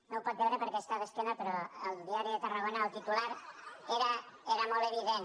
no ho pot veure perquè està d’esquena però al diari de tarragona el titular era molt evident